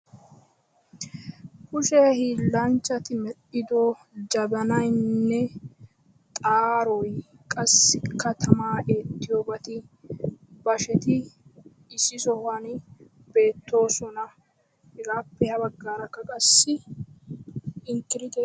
Kushe hillanchchati medhdhido jabanaynne xaaroy qassika tama eettiyobati basheti issi sohuwan beettosona. hegappe habaggaraka Inkkirittee beettes.